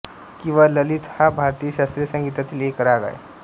किंवा ललित हा भारतीय शास्त्रीय संगीतातील एक राग आहे